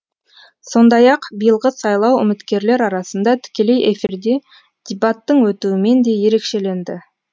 сондай ақ биылғы сайлау үміткерлер арасында тікелей эфирде дебаттың өтуімен де ерекшеленді